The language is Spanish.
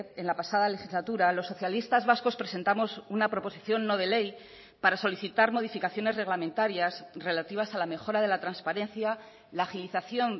en la pasada legislatura los socialistas vascos presentamos una proposición no de ley para solicitar modificaciones reglamentarias relativas a la mejora de la transparencia la agilización